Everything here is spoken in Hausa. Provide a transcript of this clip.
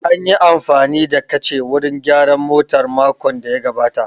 An yi amfani da kacha wurin gyaran motar makon da ya gabata